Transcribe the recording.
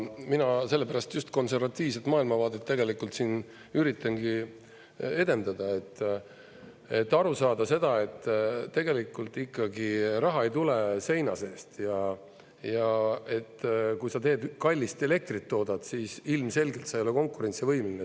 Mina sellepärast just konservatiivset maailmavaadet siin üritangi edendada, et aru saada seda, et tegelikult ikkagi see raha ei tule seina seest, ja kui sa toodad kallist elektrit, siis ilmselgelt sa ei ole konkurentsivõimeline.